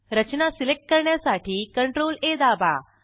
रचना select करण्यासाठी CTRLA दाबा